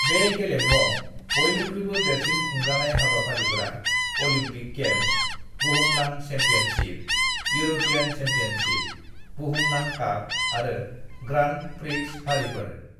"बे गेलेमुआव बयनिख्रुयबो देरसिन खुंजानाय हाबाफारिफोरा अलम्पिक गेम्स, बुहुमनां चेम्पियनशिप, युरपीयान चेम्पियनशिप, बुहुमनां काप आरो ग्रांन्ड-प्रिक्स फारिफोर।"